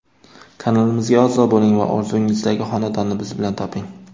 Kanalimizga a’zo bo‘ling va orzungizdagi xonadonni biz bilan toping!.